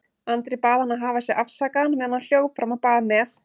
Andri bað hann að hafa sig afsakaðan meðan hann hljóp fram á bað með